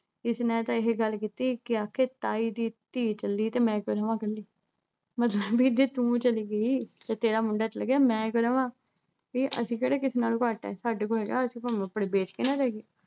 ਇਸ ਨੇ ਤਾਂ ਇਹੇ ਗੱਲ ਕੀਤੀ ਕਿ ਆਖਿਰ ਤਾਈ ਦੀ ਧੀ ਚੱਲੀ ਤੇ ਮੈਂ ਕਿਉਂ ਰਹਾਂ ਕੱਲੀ ਮਤਲਬ ਵੀ ਜੇ ਤੂੰ ਚਲੀ ਗਈ ਤੇ ਤੇਰਾ ਮੁੰਡਾ ਚਲ ਗਿਆ ਮੈਂ ਕਿਉਂ ਰਵਾਂ ਵੀ ਅਸੀਂ ਕਿਹੜਾ ਕਿਸੇ ਨਾਲੋਂ ਘੱਟ ਆ ਸਾਡੇ ਕੋਲ ਹੈਗਾ ਅਸੀਂ ਭਾਵੇਂ ਆਪਣੀ ਵੇਚ ਕੇ ਨਾ ਜਾਈਏ